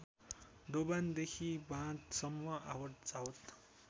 दोभानदेखि बाँधसम्म आवतजावत